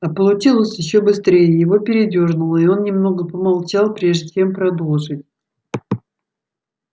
а получилось ещё быстрее его передёрнуло и он немного помолчал прежде чем продолжить